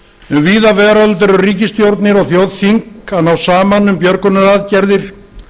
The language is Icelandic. um víða veröld eru ríkisstjórnir og þjóðþing að ná saman um björgunaraðgerðir